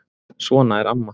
Svona er amma.